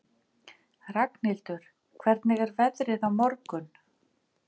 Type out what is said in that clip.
Ragnhildur, hvernig er veðrið á morgun?